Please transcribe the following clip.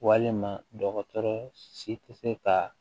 Walima dɔgɔtɔrɔ si tɛ se ka